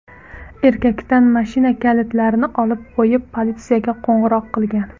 Erkakdan mashina kalitlarini olib qo‘yib, politsiyaga qo‘ng‘iroq qilgan.